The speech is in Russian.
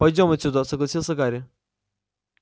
пойдём отсюда согласился гарри